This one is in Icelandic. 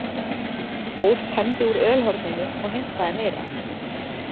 Þór tæmdi úr ölhorninu og heimtaði meira.